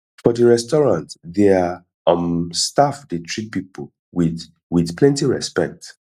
for di restaurant their um staff dey treat pipo with with plenty respect